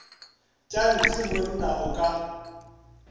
tša ntshe monna o ka